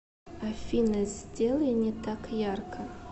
афина сделай не так ярко